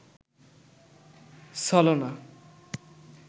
ছলনা